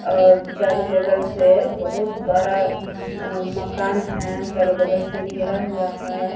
और चारो बगल से बहुत बड़ा अ मकान है। चारो बगल से घेरा हुआ है।